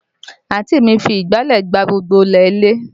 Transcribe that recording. Àǹtí mi fi ìgbálẹ̀ gbá gbogbo ilẹ̀ ilé